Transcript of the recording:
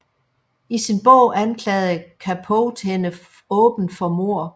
I sin bog anklagede Capote hende åbent for mord